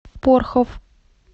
порхов